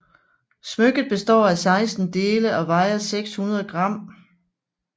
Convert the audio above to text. Smykket består af 16 dele og vejer 600 gram